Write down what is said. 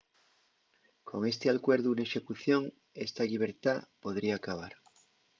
con esti alcuerdu n’execución esta llibertá podría acabar